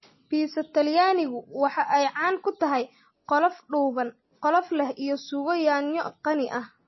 Biisa Talyaanigu waxa ay caan ku tahay qolof dhuuban, qolof leh iyo suugo yaanyo qani ah.